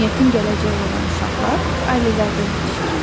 Cəmiyyətin gələcəyi olan uşaqlar ailələrdə yetişir.